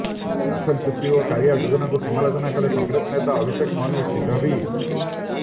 Rafale ଚୁକ୍ତି ଓ କାଳିଆ ଯୋଜନାକୁ ସମାଲୋଚନା କଲେ କଂଗ୍ରେସ ନେତା ଅଭିଷେକ ମନୁ ସିଂଘଭି